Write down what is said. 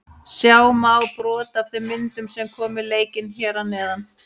Sjá má brot af þeim myndum sem koma í leikinn hér að neðan.